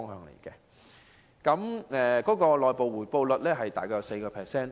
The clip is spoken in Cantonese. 年金計劃的回報率大約為 4%。